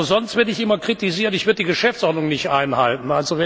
Sonst werde ich immer kritisiert, ich würde die Geschäftsordnung nicht einhalten.